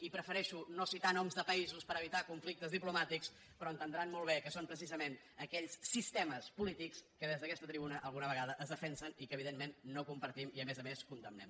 i prefereixo no citar noms de països per evitar conflictes diplomàtics però entendran molt bé que són precisament aquells sistemes polítics que des d’aquesta tribuna alguna vegada es defensen i que evidentment no compartim i a més a més condemnem